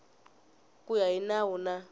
ku ya hi nawu na